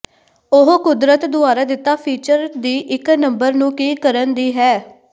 ਉਹ ਕੁਦਰਤ ਦੁਆਰਾ ਦਿੱਤਾ ਫੀਚਰ ਦੀ ਇੱਕ ਨੰਬਰ ਨੂੰ ਕੀ ਕਰਨ ਦੀ ਹੈ